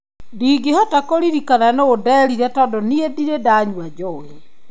Ndingĩhota kũririkana nũũ nderire tondũ niĩ ndirĩ ndanyua njohi"